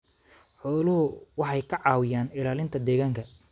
Xooluhu waxay ka caawiyaan ilaalinta deegaanka.